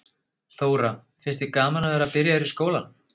Þóra: Finnst þér gaman að vera byrjaður í skólanum?